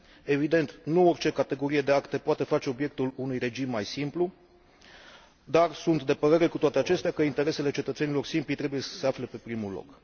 Evident, nu orice categorie de acte poate face obiectul unui regim mai simplu, dar sunt de părere, cu toate acestea, că interesele cetățenilor simpli trebuie să se afle pe primul loc.